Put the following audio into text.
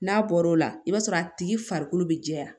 N'a bɔr'o la i b'a sɔrɔ a tigi farikolo bɛ jɛya